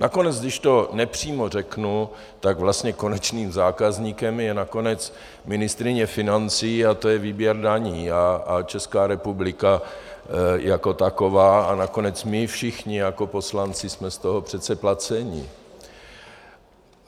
Nakonec když to nepřímo řeknu, tak vlastně konečným zákazníkem je nakonec ministryně financí, a to je výběr daní a Česká republika jako taková a nakonec my všichni jako poslanci jsme z toho přece placeni.